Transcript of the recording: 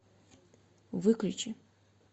выключи